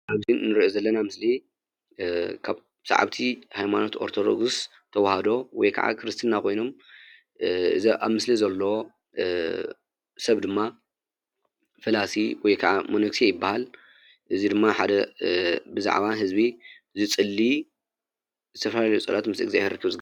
አብዚ ንሪኦ ዘለና ምስሊ ካብ ሰዓብቲ ሃይማኖት አርቶዶክስ ተዋህዶ ወይ ከዓ ክርስቲና ኮይኑ እዚ አብ ምስሊ ዘሎ ስብ ድማ ፈላሲ ወይ ካዓ መሎክሴ ይብሃል። እዚ ድማ ሓደ ብዛዕባ ህዝቢ ዝፅልይ ዝተፈላለዩ ፀሎት ምስ እግዛብሄር ዘራክብ ንሪኦ ዘለና ምስሊ ።